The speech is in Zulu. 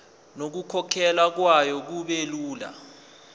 nokukhokhwa kwayo kubelula